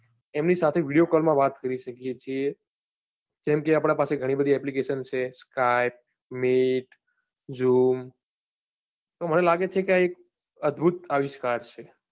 એમની સાથે video call માં વાત કરી શકીએ છીએ જેમ કે, આપના પાસે ઘણી બધી application છે skype, meet, zoom તો મને લાગે છે કે આ એક અદભુત આવિષ્કાર છે.